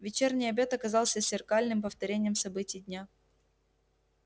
вечерний обед оказался зеркальным повторением событий дня